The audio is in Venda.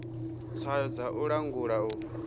tswayo dza u langula u